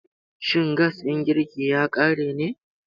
Shin gas ɗin girki ya ƙare ne?